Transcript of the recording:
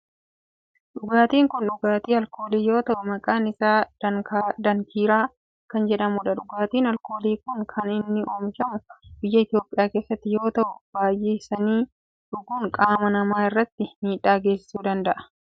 Dhugaatin kun dhugaatii alkoolii yoo ta'u maqaan isaa daankiraa kan jedhamudha. dhugaatin alkoolii kun kan inni oomishamu biyya Itiyoophiyaa keessatti yoo ta'u baayyisanii dhuguun qaama namaa irratti miidhaa geessisuu danda'a.